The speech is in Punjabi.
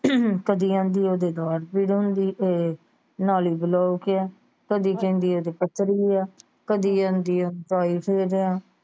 ਕਦੀ ਕਹਿੰਦੀ ਓਹਦੇ ਦਾੜ ਪੀੜ ਹੋਣ ਦੀ ਏ ਨਾਲਿ ਬਲੋਕ ਆ ਕਦੀ ਕਹਿੰਦੀ ਓਹਦੇ ਪੱਥਰੀ ਆ ਕਦੀ ਕਹਿੰਦੀ ਆ ਆ।